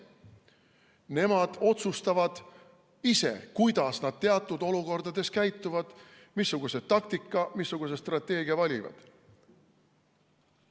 Nemad otsustavad ise, kuidas nad teatud olukordades käituvad, missuguse taktika või strateegia valivad.